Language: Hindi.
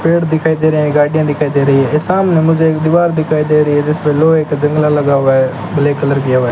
पेड़ दिखाई दे रहे हैं गाडियां दिखाई दे रही है सामने मुझे एक दीवार दिखाई दे रही है जिसपे लोहे का जंगला लगा हुआ है ब्लैक कलर किया हुआ है।